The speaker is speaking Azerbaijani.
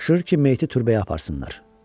Tapşırır ki, meyti türbəyə aparsınlar.